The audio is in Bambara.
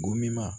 Gomin